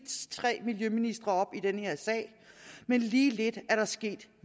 tre miljøministre op i den her sag men lige lidt er der sket